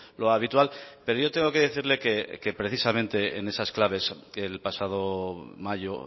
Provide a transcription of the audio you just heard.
lo habitual pero yo tengo que decirle que precisamente en esas claves que el pasado mayo